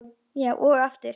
Og aftur.